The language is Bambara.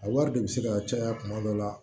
A wari de bɛ se ka caya kuma dɔ la